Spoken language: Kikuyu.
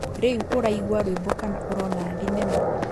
Riũ ũraigua rwĩmbo kana ũrona thenema